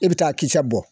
E bɛ taa kisɛ bɔ